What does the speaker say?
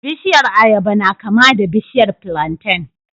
Bishiyar ayaba na kama da bishiyar plantain